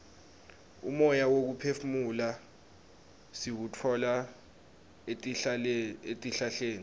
umoya wekuphefumula siwutfola etihlahleni